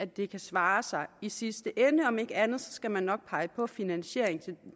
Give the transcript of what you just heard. det kan svare sig i sidste ende om ikke andet skal man nok pege på finansiering